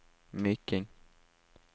Myking